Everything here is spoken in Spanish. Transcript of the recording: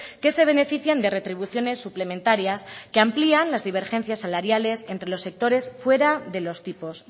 que se benefician de retribuciones suplementarias que amplían las divergencias salariales entre los sectores fuera de los tipos